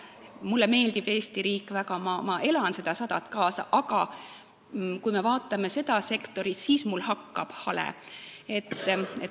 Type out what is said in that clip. Mulle meeldib Eesti riik väga, ma elan sellele 100. sünnipäevale kaasa, aga kui me vaatame seda sektorit, siis hakkab mul hale.